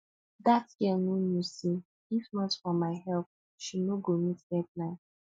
dat girl no know say if not for my help she no go meet deadline